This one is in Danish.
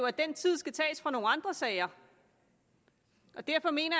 at den tid skal tages fra nogle andre sager og derfor mener